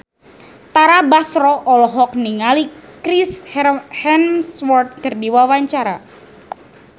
Tara Basro olohok ningali Chris Hemsworth keur diwawancara